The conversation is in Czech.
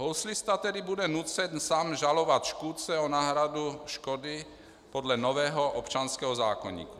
Houslista tedy bude nucen sám žalovat škůdce o náhradu škody podle nového občanského zákoníku.